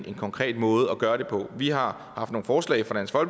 en konkret måde at gøre det på vi har haft nogle forslag fra